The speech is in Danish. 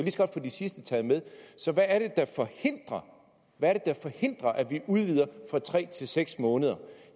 sidste taget med så hvad er det der forhindrer at vi udvider fra tre til seks måneder